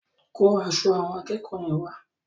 Kó aṣọ àwọn akẹ́kọ̀ọ́ yẹn wá.